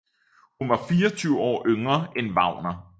Hun var 24 år yngre end Wagner